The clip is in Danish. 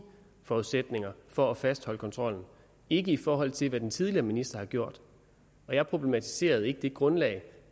forudsætninger for at fastholde kontrollen ikke i forhold til hvad den tidligere minister har gjort jeg problematiserede ikke det grundlag